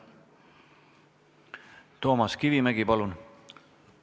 Toomas Kivimägi, palun!